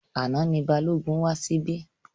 Àná ni Balógun wá síbí.